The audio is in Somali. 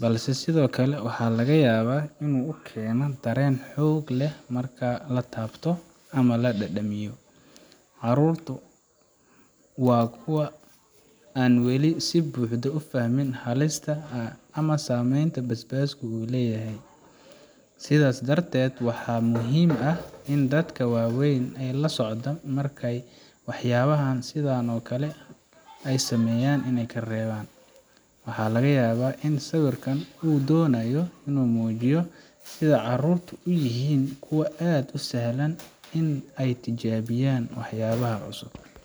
balse sidoo kale waxa laga yaabaa in uu keeno dareen xoog leh marka la taabto ama la dhadhamiyo. Carruurtu waa kuwa aan wali si buuxda u fahmin halista ama saameynta basbaasku leeyahay, sidaa darteed waxaa muhiim ah in dadka waaweyn ay la socdaan marka ay waxyaabo sidan oo kale ay sameeyan ay kareeban. Waxaa laga yaabaa in sawirkan uu doonayo in uu muujiyo sida carruurtu u yihiin kuwo aad u sahlan in ay tijaabiyaan waxyaabaha cusub.